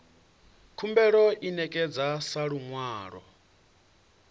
khumbelo i ṋekedzwa sa luṅwalo